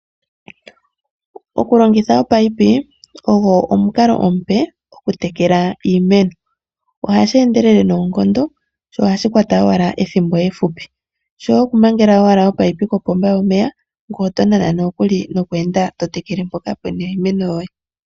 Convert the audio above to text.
Okulongitha ominino ogo omukalo omupe okutekela iimeno ohashi endelele noonkondo nohashi kwata owala ethimbo efupi shoye okumangela owala omunino kopomba yomeya ngoye to nana nokweenda to tekele mpoka pu na iimeno yoye.